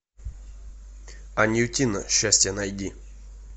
анютино счастье найди